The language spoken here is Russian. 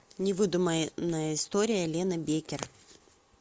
невыдуманная история лены беккер